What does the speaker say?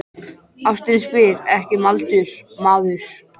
Ástin spyr ekki um aldur, maður!